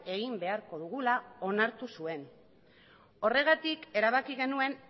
egin beharko dugula onartu zuen horregatik erabaki genuen